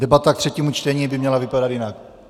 Debata k třetímu čtení by měla vypadat jinak.